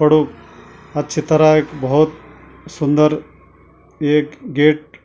पडो अच्छी तरह एक भौत सुंदर ऐक गेट